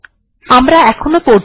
এখন পরবর্তী আলোচনাতে আসা যাক